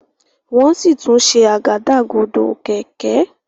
wón sí tún ṣe Àgádágodo kẹ̀kẹ́.